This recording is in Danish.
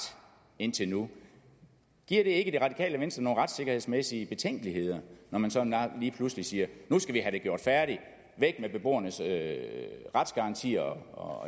indtil nu giver det ikke det radikale venstre nogle retssikkerhedsmæssige betænkeligheder når man sådan lige pludselig siger nu skal vi have det gjort færdig væk med beboernes retsgarantier og